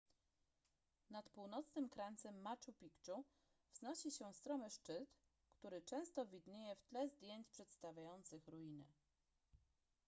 nad północnym krańcem machu picchu wznosi się stromy szczyt który często widnieje w tle zdjęć przedstawiających ruiny